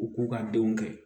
U k'u ka denw kɛ